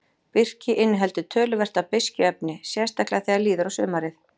Birki inniheldur töluvert af beiskjuefni, sérstaklega þegar líður á sumarið.